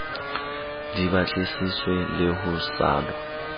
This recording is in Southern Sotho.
di batlisiswe le ho salwa